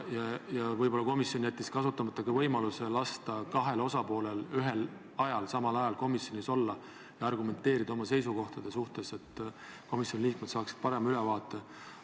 Ja võib-olla jättis komisjon kasutamata ka võimaluse lasta kahel osapoolel ühel ja samal ajal komisjonis olla ja oma seisukohti argumenteerida, et komisjoni liikmed saaksid parema ülevaate.